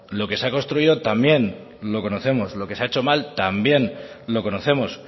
lo que se ha construido también lo conocemos lo que se ha hecho mal también lo conocemos